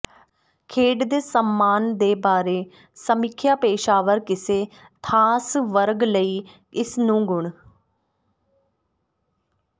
ਖੇਡ ਦੇ ਸਾਮਾਨ ਦੇ ਬਾਰੇ ਸਮੀਖਿਆ ਪੇਸ਼ਾਵਰ ਕਿਸੇ ਖਾਸ ਵਰਗ ਲਈ ਇਸ ਨੂੰ ਗੁਣ